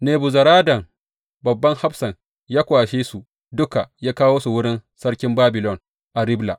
Nebuzaradan, babban hafsan, ya kwashe su duka ya kawo su wurin sarkin Babilon a Ribla.